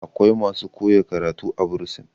akwai masu koya karatu a bursin